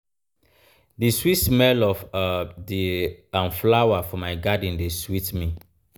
di sweet smell of um di um flower for my garden dey sweet me.